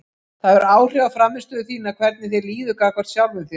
Það hefur áhrif á frammistöðu þína hvernig þér líður gagnvart sjálfum þér.